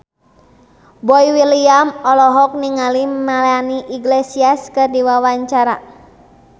Boy William olohok ningali Melanie Iglesias keur diwawancara